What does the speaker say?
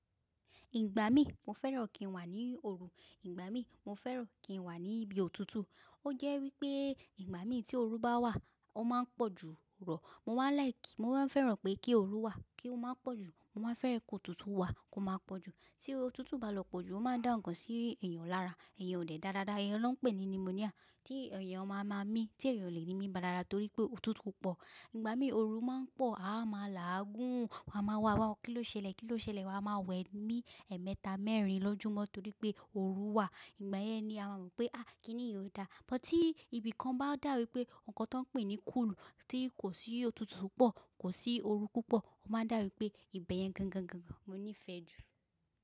Ìgbà mí mo fẹ́ràn kí n wà ní òru, ìgbà mí mo fẹ́ràn kí n wà níbi òtútù. Ó jẹ́ wípé ìgbà mí tí òru bá wà ó máa ń pọ̀ jù rọ̀. Mo máa ń like, mo máa ń fẹ́ràn pé kí òoru wà kí ó máa pọ̀ jù. Mo máa fẹ́ràn kí òtútù wà kí ó máa pọ̀ jù. Tí òtútù bá lọ pọ̀ jù ó máa ń dá ńkan sí èèyàn lára. Iyen ò de dára, iyen ló ń pè ní pneumonia. Tí èèyàn máa máa mí, tí èèyàn ò le ní mí dáradára torí pé òtútù pọ̀. Ìgbà mí òoru máa ń pọ̀, a máa làágùn, wa máa wá wá kí ló ṣẹlẹ̀? Kí ló ṣẹlẹ̀? Wa máa wẹ̀ ní ẹ̀ẹ̀mẹta, mẹ́rin lójúmọ́ torí pé òru wà. Ìgbà yẹn ni a máa mọ̀ pé kíni yí ó dáa. But tí ibìkan bá dàbí wípé ǹkan tó ń pè ní cool, tí kò sí òtútù pọ̀, kò sí òoru púpọ̀, ó máa n dàbíi wípé ìbẹ̀ yẹn gangan mo nífẹ̀ẹ́ jù.